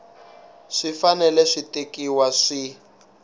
swi fanele swi tekiwa swi